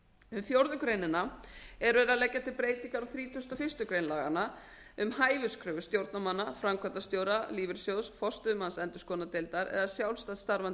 um fjórða grein er verið að leggja til breytingar á þrítugasta og fyrstu grein laganna um hæfiskröfur stjórnarmanna framkvæmdastjóra lífeyrissjóðs forstöðumanns endurskoðunardeildar eða sjálfstætt starfandi